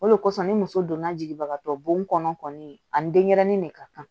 O de kosɔn ni muso donna jigibagatɔ bon kɔnɔ kɔni ani denyɛrɛnin de ka kan